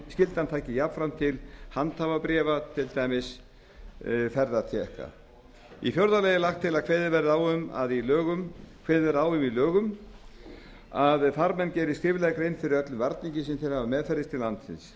skyldan taki jafnframt til handhafabréfa þar með talið ferðatékka í fjórða lagi er lagt til að kveðið verði á um það í lögum að farmenn geri skriflega grein fyrir öllum þeim varningi sem þeir hafa meðferðis til landsins